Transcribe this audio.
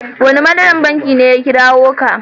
Wane manajan banki ne ya kirawo ka?